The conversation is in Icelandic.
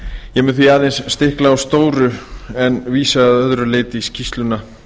ég mun því aðeins stikla á stóru en vísa að öðru leyti í skýrsluna